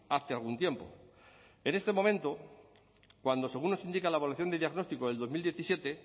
hace algún tiempo en este momento cuando según nos indica la evaluación de diagnóstico del dos mil diecisiete